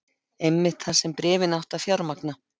Einmitt það sem bréfin áttu að fjármagna.